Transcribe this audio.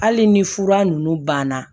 Hali ni fura ninnu banna